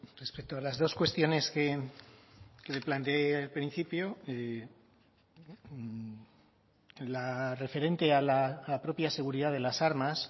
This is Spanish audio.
respecto a las dos cuestiones que le planteé al principio la referente a la propia seguridad de las armas